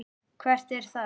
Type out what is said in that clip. Hvert er það?